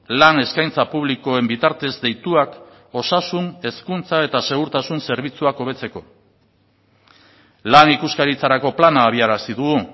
lan eskaintza publikoen bitartez deituak osasun hezkuntza eta segurtasun zerbitzuak hobetzeko lan ikuskaritzarako plana abiarazi dugu